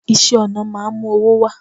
iṣẹ ọna máà ń mú owó wá